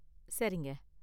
சரிங்க.